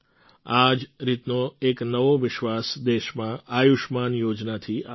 આ જ રીતનો એક નવો વિશ્વાસ દેશમાં આયુષ્યમાન યોજનાથી આવ્યો છે